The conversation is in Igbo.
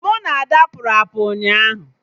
Mụ na Ada pụrụ apụ ụnyaahụ